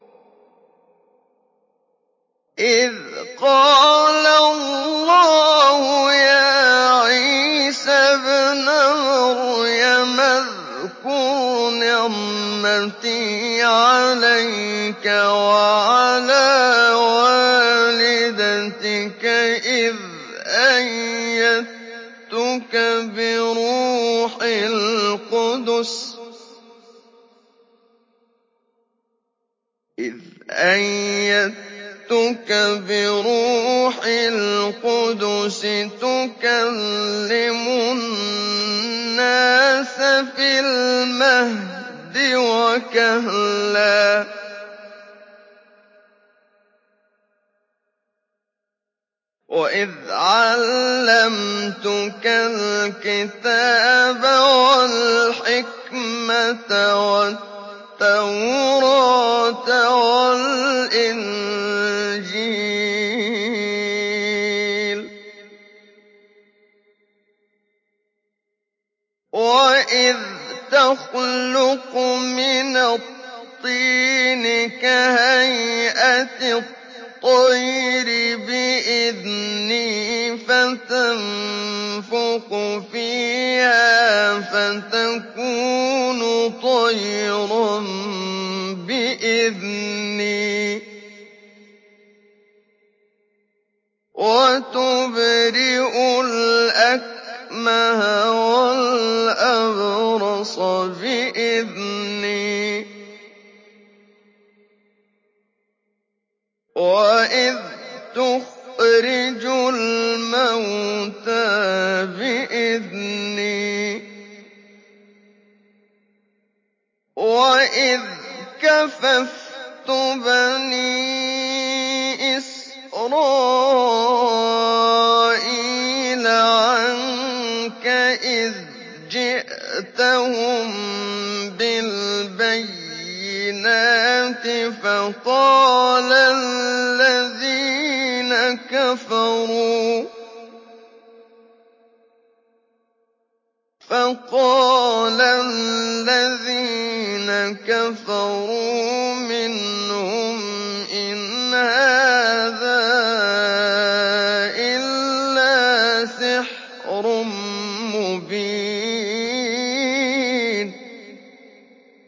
إِذْ قَالَ اللَّهُ يَا عِيسَى ابْنَ مَرْيَمَ اذْكُرْ نِعْمَتِي عَلَيْكَ وَعَلَىٰ وَالِدَتِكَ إِذْ أَيَّدتُّكَ بِرُوحِ الْقُدُسِ تُكَلِّمُ النَّاسَ فِي الْمَهْدِ وَكَهْلًا ۖ وَإِذْ عَلَّمْتُكَ الْكِتَابَ وَالْحِكْمَةَ وَالتَّوْرَاةَ وَالْإِنجِيلَ ۖ وَإِذْ تَخْلُقُ مِنَ الطِّينِ كَهَيْئَةِ الطَّيْرِ بِإِذْنِي فَتَنفُخُ فِيهَا فَتَكُونُ طَيْرًا بِإِذْنِي ۖ وَتُبْرِئُ الْأَكْمَهَ وَالْأَبْرَصَ بِإِذْنِي ۖ وَإِذْ تُخْرِجُ الْمَوْتَىٰ بِإِذْنِي ۖ وَإِذْ كَفَفْتُ بَنِي إِسْرَائِيلَ عَنكَ إِذْ جِئْتَهُم بِالْبَيِّنَاتِ فَقَالَ الَّذِينَ كَفَرُوا مِنْهُمْ إِنْ هَٰذَا إِلَّا سِحْرٌ مُّبِينٌ